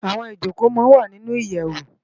Awòn Ijókó má n wá ninú iyèwó